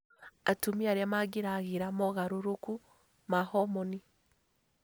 Atumia arĩa mageragĩra mogarũrũku ma homoni